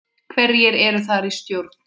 Hverjir eru þar í stjórn?